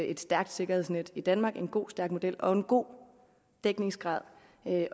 et stærkt sikkerhedsnet i danmark en god stærk model og en god dækningsgrad